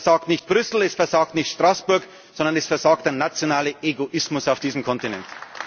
Es versagt nicht Brüssel, es versagt nicht Straßburg, sondern es versagt der nationale Egoismus auf diesem